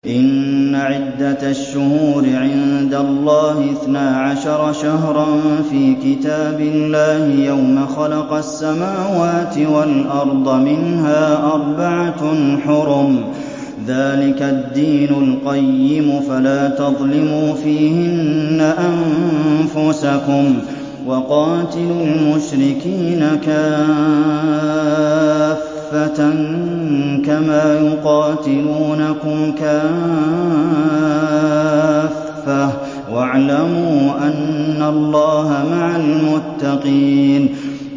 إِنَّ عِدَّةَ الشُّهُورِ عِندَ اللَّهِ اثْنَا عَشَرَ شَهْرًا فِي كِتَابِ اللَّهِ يَوْمَ خَلَقَ السَّمَاوَاتِ وَالْأَرْضَ مِنْهَا أَرْبَعَةٌ حُرُمٌ ۚ ذَٰلِكَ الدِّينُ الْقَيِّمُ ۚ فَلَا تَظْلِمُوا فِيهِنَّ أَنفُسَكُمْ ۚ وَقَاتِلُوا الْمُشْرِكِينَ كَافَّةً كَمَا يُقَاتِلُونَكُمْ كَافَّةً ۚ وَاعْلَمُوا أَنَّ اللَّهَ مَعَ الْمُتَّقِينَ